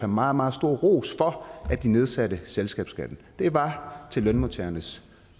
meget meget stor ros for at de nedsatte selskabsskatten det var til lønmodtagernes